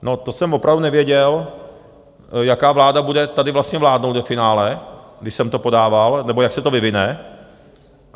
No to jsem opravdu nevěděl, jaká vláda bude tady vlastně vládnout ve finále, když jsem to podával, nebo jak se to vyvine.